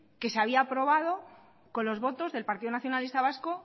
que se había aprobado con los votos del partido nacionalista vasco